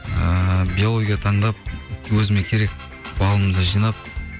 ыыы биология таңдап өзіме керек балымды жинап